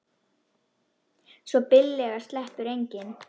Svo billega sleppur enginn.